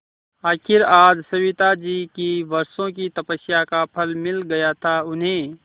आखिर आज सविताजी की वर्षों की तपस्या का फल मिल गया था उन्हें